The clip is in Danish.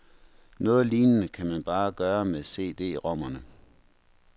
Noget lignende kan man bare gøre med CDrommerne.